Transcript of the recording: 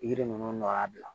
Yiri ninnu nɔ y'a bila